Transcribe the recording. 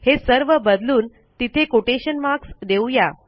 हे सर्व बदलून तिथे कोटेशन मार्क्स देऊ या